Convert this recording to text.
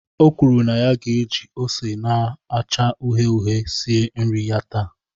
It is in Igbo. O kwuru na ya ga-eji ose na-acha uhie uhie sie nri ya taa.